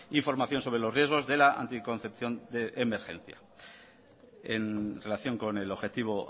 información sobre los riesgos de la anticoncepción de emergencia en relación con el objetivo